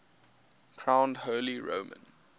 crowned holy roman